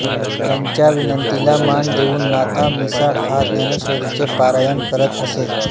त्यांच्या विनंतीला मान देऊन नाथा मिसाळ हा ज्ञानेश्वरीचे पारायण करत असे